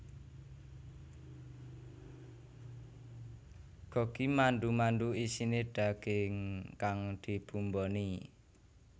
Gogi mandu mandu isine daging kang dibumboni